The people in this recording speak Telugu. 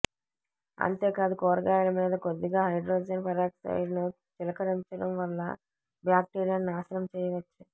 అంతే కాదు కూరగాయల మీద కొద్దిగా హైడ్రోజెన్ పెరాక్సైడ్ ను చిలకరించడం వల్ల బ్యాక్టీరియాను నాశనం చేయవచ్చు